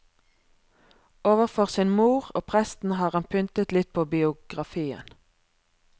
Overfor sin mor og presten har han pyntet litt på biografien.